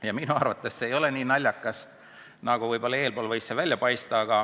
Ja minu arvates see ei ole naljakas, nagu enne võis välja paista.